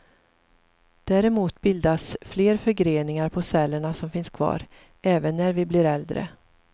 Däremot bildas fler förgreningar på cellerna som finns kvar, även när vi blir äldre.